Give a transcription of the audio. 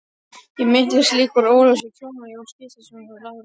Ég minnist líka úr Ólafsvík hjónanna Jóns Gíslasonar og Láru